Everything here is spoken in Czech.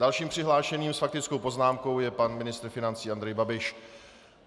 Dalším přihlášeným s faktickou poznámkou je pan ministr financí Andrej Babiš.